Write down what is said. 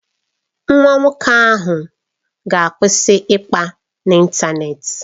Nwa nwoke ahụ ga-akwụsị ịkpa n'ịntanetị.